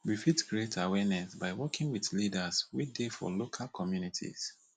we fit create awareness by working with leaders wey dey for local communities